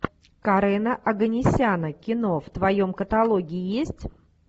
карена оганесяна кино в твоем каталоге есть